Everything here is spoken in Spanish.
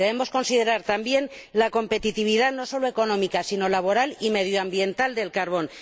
Debemos considerar también la competitividad no solo económica, sino laboral y medioambiental del carbón.